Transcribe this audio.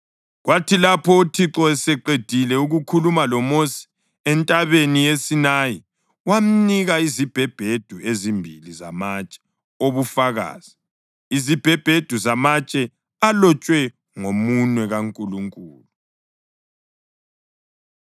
Kwathi lapho uThixo eseqedile ukukhuluma loMosi entabeni yaseSinayi wamnika izibhebhedu ezimbili zamatshe obufakazi, izibhebhedu zamatshe alotshwe ngomunwe kaNkulunkulu.